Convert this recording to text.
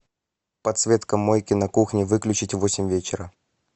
подсветка мойки на кухне выключить в восемь вечера